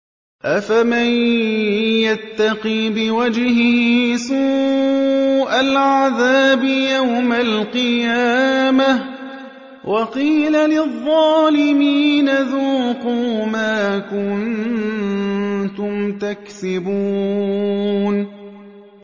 أَفَمَن يَتَّقِي بِوَجْهِهِ سُوءَ الْعَذَابِ يَوْمَ الْقِيَامَةِ ۚ وَقِيلَ لِلظَّالِمِينَ ذُوقُوا مَا كُنتُمْ تَكْسِبُونَ